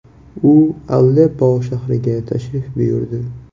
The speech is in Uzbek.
U Aleppo shahriga tashrif buyurdi.